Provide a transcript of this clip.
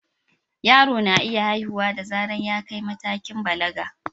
Yaro na iya haihuwa da zarar ta kai matakin balaga.